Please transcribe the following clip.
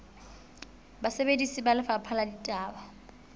basebeletsi ba lefapha la ditaba